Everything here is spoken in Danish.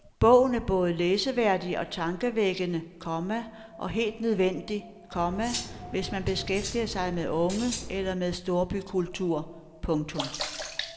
Bogen er både læseværdig og tankevækkende, komma og helt nødvendig, komma hvis man beskæftiger sig med unge eller med storbykultur. punktum